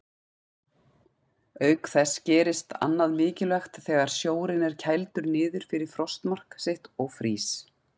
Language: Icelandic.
Auk þess gerist annað mikilvægt þegar sjórinn er kældur niður fyrir frostmark sitt og frýs.